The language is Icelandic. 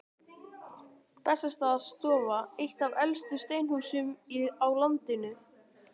Bessastaðastofa, eitt af elstu steinhúsum á landinu.